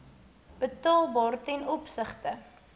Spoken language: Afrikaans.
betaalbaar ten opsigte